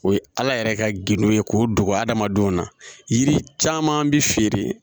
O ye ala yɛrɛ ka gendo ye k'o dogo hadamadenw na yiri caman bi feere